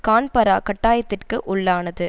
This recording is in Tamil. கான்பரா கட்டயாத்திற்கு உள்ளானது